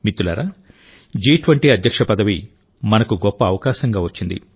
మిత్రులారాజి20 అధ్యక్ష పదవి మనకు గొప్ప అవకాశంగా వచ్చింది